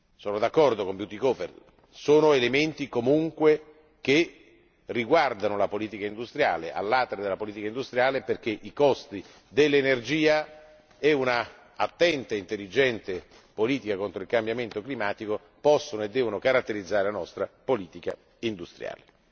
Sono d'accordo con l'onorevole Bütikofer si tratta comunque di elementi che riguardano la politica industriale, a latere della politica industriale, perché i costi dell'energia e un'attenta e intelligente politica contro il cambiamento climatico possono e devono caratterizzare la nostra politica industriale.